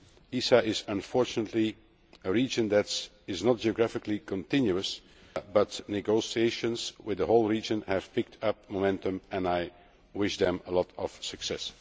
ESA is unfortunately a region that is not geographically continuous, but negotiations with the whole region have picked up momentum and I wish them much success.